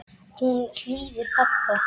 Hún hlýðir pabba.